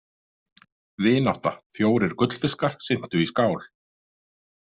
Vinátta Fjórir gullfiskar syntu í skál.